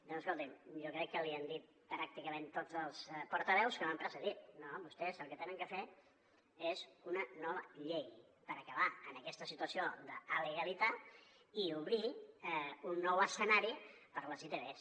doncs escolti’m jo crec que l’hi han dit pràcticament tots els portaveus que m’han precedit vostès el que han de fer és una nova llei per acabar amb aquesta situació d’alegalitat i obrir un nou escenari per a les itvs